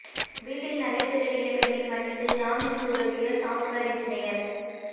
வீட்டில் நகை திருடிய பெண்ணை மன்னித்து ஜாமீனுக்கும் உதவிய சாப்ட்வேர் என்ஜினியர்